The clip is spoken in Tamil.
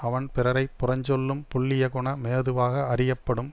அவன் பிறரை புறஞ்சொல்லும் புல்லியகுண மேதுவாக அறியப்படும்